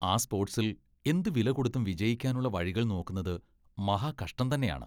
ആ സ്പോർട്സിൽ എന്തുവിലകൊടുത്തും വിജയിക്കാനുള്ള വഴികൾ നോക്കുന്നത് മഹാകഷ്ടം തന്നെയാണ്.